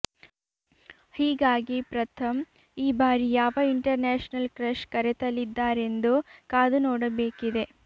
ಹೀಗಾಗಿ ಪ್ರಥಮ್ ಈ ಬಾರಿ ಯಾವ ಇಂಟರ್ ನ್ಯಾಷನಲ್ ಕ್ರಶ್ ಕರೆತಲಿದ್ದಾರೆಂದು ಕಾದು ನೋಡಬೇಕಿದೆ